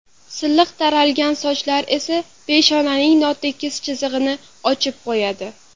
Silliq taralgan sochlar esa peshonaning notekis chizig‘ini ochib qo‘yadi.